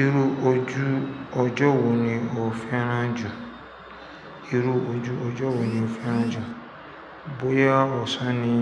Irú ojú ọjọ́ wo ni o féràn jù? Irú ojú ọjọ́ wo ni o féràn jù? Bóyá ọ̀sán ni